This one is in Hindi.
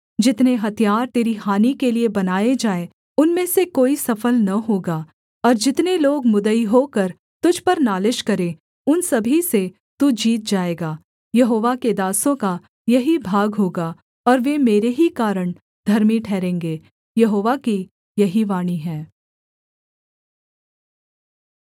जितने हथियार तेरी हानि के लिये बनाए जाएँ उनमें से कोई सफल न होगा और जितने लोग मुद्दई होकर तुझ पर नालिश करें उन सभी से तू जीत जाएगा यहोवा के दासों का यही भाग होगा और वे मेरे ही कारण धर्मी ठहरेंगे यहोवा की यही वाणी है